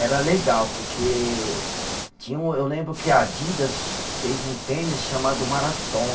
Era legal, porque tinha um, eu lembro que Adidas fez um tênis chamado Marathon.